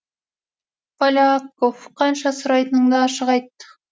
поляков қанша сұрайтыныңды ашық айт